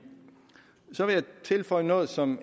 så vil jeg tilføje noget som